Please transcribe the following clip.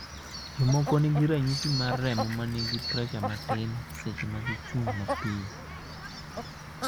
jomoko nigi ranyisi marremo manigi pressure matin seche ma gichung' mapio